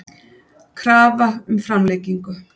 Krafa um framlengingu